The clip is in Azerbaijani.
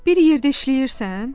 Bir yerdə işləyirsən?